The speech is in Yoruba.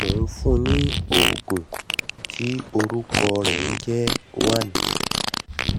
mò n fún un ní òògùn tí orúkọ rẹ̀ ń jẹ́ one